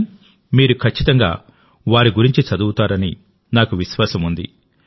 కానీ మీరు ఖచ్చితంగా వారి గురించి చదువుతారని నాకు విశ్వాసం ఉంది